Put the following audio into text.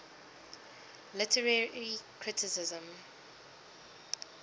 literary criticism